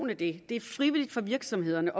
at det er frivilligt for virksomhederne